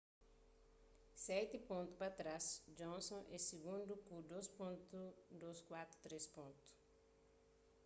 seti pontu pa trás johnson é sigundu ku 2.243